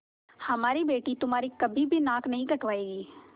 हमारी बेटी तुम्हारी कभी भी नाक नहीं कटायेगी